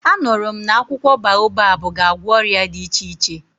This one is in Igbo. A nụrụ m na akwụkwọ baobabu ga-agwọ ọrịa dị iche iche.